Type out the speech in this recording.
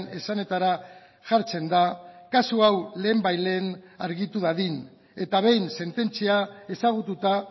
esanetara jartzen da kasu hau lehenbailehen argitu dadin eta behin sententzia ezagututa